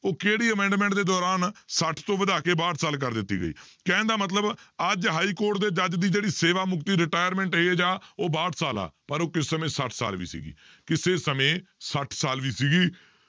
ਉਹ ਕਿਹੜੀ amendment ਦੇ ਦੌਰਾਨ ਛੱਠ ਤੋਂ ਵਧਾ ਕੇ ਬਾਹਠ ਸਾਲ ਕਰ ਦਿੱਤੀ ਗਈ, ਕਹਿਣ ਦਾ ਮਤਲਬ ਅੱਜ ਹਾਈਕੋਰਟ ਦੇ ਜੱਜ ਦੀ ਜਿਹੜੀ ਸੇਵਾ ਮੁਕਤੀ retirement age ਆ ਉਹ ਬਾਹਠ ਸਾਲ ਆ, ਪਰ ਉਹ ਕਿਸੇ ਸਮੇਂ ਛੱਠ ਸਾਲ ਵੀ ਸੀਗੀ ਕਿਸੇ ਸਮੇਂ ਛੱਠ ਸਾਲ ਵੀ ਸੀਗੀ